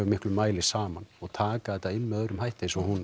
miklu mæli saman og taka þetta inn á annan hátt eins og